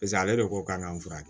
Paseke ale de ko k'an k'an furakɛ